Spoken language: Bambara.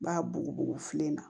N b'a bugubugu fiɲɛ na